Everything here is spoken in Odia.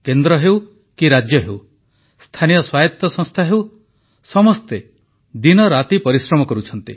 କେନ୍ଦ୍ର ହେଉ କି ରାଜ୍ୟ ହେଉ ସ୍ଥାନୀୟ ସ୍ୱାୟତ ସଂସ୍ଥା ହେଉ ସମସ୍ତେ ଦିନରାତି ପରିଶ୍ରମ କରୁଛନ୍ତି